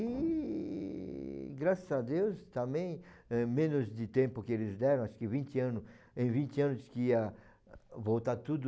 E, graças a Deus, também, eh, menos de tempo que eles deram, acho que vinte anos, em vinte anos que ia voltar tudo...